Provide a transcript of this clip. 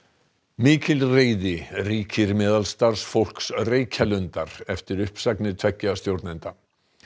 mikil reiði ríkir meðal starfsfólks Reykjalundar eftir uppsagnir tveggja stjórnenda